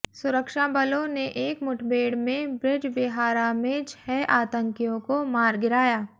सुरक्षाबलों ने एक मुठभेड़ में ब्रिजबिहारा में छह आतंकियों को मार गिराया